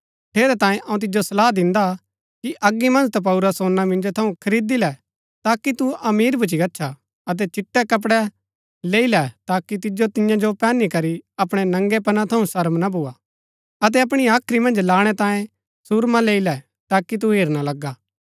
ठेरैतांये अऊँ तिजो सलाह दिन्दा कि अगी मन्ज तपाऊरा सोना मिंजो थऊँ खरीदी लै ताकि तू अमीर भूच्ची गच्छा अतै चिट्टै कपड़ै लैई लै ताकि तिजो तियां जो पैहनी करी अपणै नगैंपना थऊँ शर्म ना भुआ अतै अपणी हाख्री मन्ज लाणै तांऐ सुर्मा लैई लै ताकि तू हेरना लगा